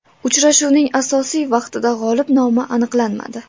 Uchrashuvning asosiy vaqtida g‘olib nomi aniqlanmadi.